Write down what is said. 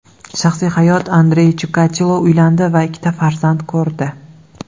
Shaxsiy hayot Andrey Chikatilo uylandi va ikkita farzand ko‘rdi.